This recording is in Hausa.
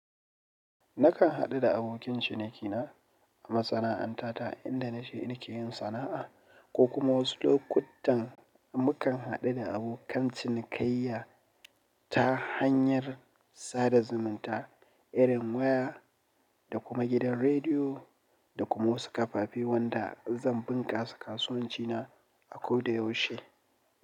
Nakan haɗu da abokin cinikina a masana'anta ta inda nashi in ke yin sana'a ko kuma wasu lokutan mukan haɗu da abokan cinikayya ta hanyar sada zumunta irin waya da kuma gidan rediyo da kuma wasu kafafi wanda zan bunƙasa kasuwanci na a koda yaushe.